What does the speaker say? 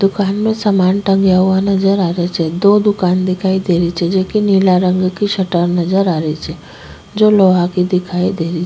दुकान में सामान टंगेया हुआ नजर आ रेहा छे दो दुकान दिखाई देरी छे जेके नीला रंग की शटर नजर आर छे जो लोहा की दिखाई देरी।